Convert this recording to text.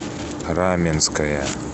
раменское